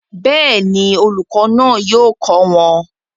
Bẹ́ẹ̀ni, olùkọ́ náà yóò kọ́ wọn